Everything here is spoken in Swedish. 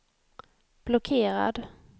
blockerad